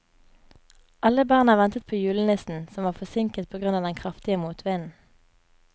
Alle barna ventet på julenissen, som var forsinket på grunn av den kraftige motvinden.